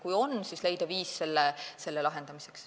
Kui on nii, siis tuleb leida viis selle probleemi lahendamiseks.